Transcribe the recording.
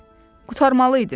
Qurtarmalıydın.